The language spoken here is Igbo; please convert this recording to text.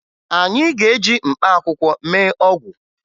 Anyị ga-eji mkpaakwụkwọ mee ọgwụ